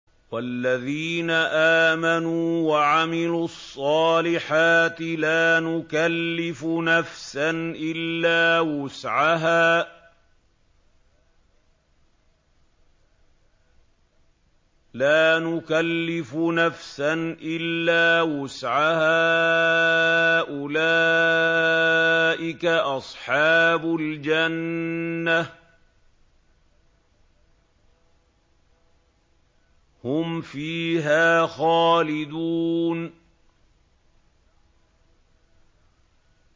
وَالَّذِينَ آمَنُوا وَعَمِلُوا الصَّالِحَاتِ لَا نُكَلِّفُ نَفْسًا إِلَّا وُسْعَهَا أُولَٰئِكَ أَصْحَابُ الْجَنَّةِ ۖ هُمْ فِيهَا خَالِدُونَ